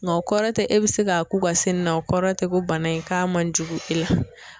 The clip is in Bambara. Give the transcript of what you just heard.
Nka o kɔrɔ tɛ e bɛ se k'a k'u ka sen na, o kɔrɔ tɛ ko bana in k'a man jugu i la.